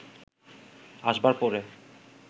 আসবার পরে